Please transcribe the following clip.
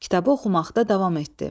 Kitabı oxumaqda davam etdi.